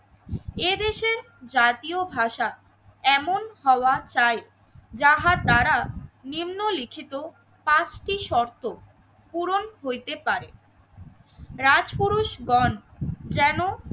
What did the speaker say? এদেশে জাতীয় ভাষা এমন হওয়া চাই যাহা তারা নিম্নলিখিত পাঁচটি শর্ত পূরণ হইতে পারে রাজপুরুষগণ যেন